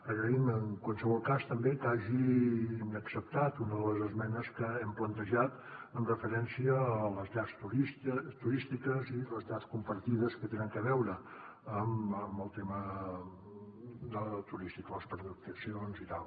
agraïm en qualsevol cas també que hagin acceptat una de les esmenes que hem plantejat amb referència a les llars turístiques i les llars compartides que tenen a veure amb el tema turístic de les pernoctacions i tal